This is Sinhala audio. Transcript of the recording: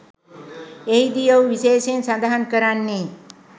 එහිදී ඔහු විශේෂයෙන් සඳහන් කරන්නේ